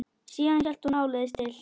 Síðan hélt hún áleiðis til